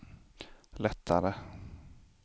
lättare